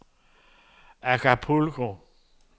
Acapulco